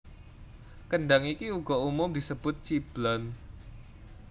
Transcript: Kendhang iki uga umum disebut ciblon